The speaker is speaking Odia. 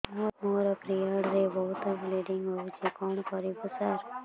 ମୋର ପିରିଅଡ଼ ରେ ବହୁତ ବ୍ଲିଡ଼ିଙ୍ଗ ହଉଚି କଣ କରିବୁ ସାର